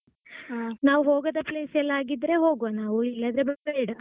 ಆ ನಾವ್ ಹೋಗದ place ಎಲ್ಲಾ ಆಗಿದ್ರೆ ಹೋಗ್ವ ನಾವು ಇಲ್ಲಾದ್ರೆ ಬೇಡ.